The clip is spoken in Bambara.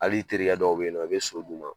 Hali i terikɛ dɔw be yen nɔ, i be so d'u ma